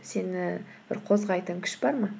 сені бір қозғайтын күш бар ма